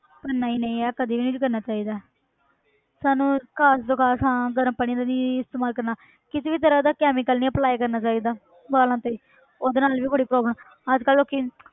ਪਰ ਨਹੀਂ ਨਹੀਂ ਯਾਰ ਕਦੇ ਵੀ ਨੀ ਕਰਨਾ ਚਾਹੀਦਾ ਸਾਨੂੰ ਘੱਟ ਤੋਂ ਘੱਟ ਹਾਂ ਗਰਮ ਪਾਣੀ ਦਾ ਨੀ ਇਸਤੇਮਾਲ ਕਰਨਾ ਕਿਸੇ ਵੀ ਤਰ੍ਹਾਂ ਦਾ chemical ਨੀ apply ਕਰਨਾ ਚਾਹੀਦਾ ਵਾਲਾਂ ਤੇ ਉਹਦੇ ਨਾਲ ਵੀ ਬੜੀ problem ਅੱਜ ਕੱਲ੍ਹ ਲੋਕੀ